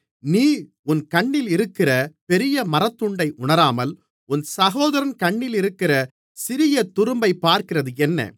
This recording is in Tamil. நீ உன் கண்ணிலிருக்கிற பெரிய மரத்துண்டை உணராமல் உன் சகோதரன் கண்ணிலிருக்கிற சிறிய துரும்பைப் பார்க்கிறதென்ன